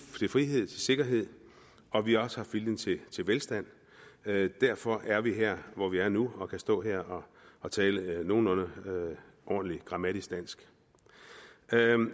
frihed og sikkerhed og vi har også haft viljen til velstand derfor er vi her hvor vi er nu og kan stå her og tale nogenlunde ordentligt grammatisk dansk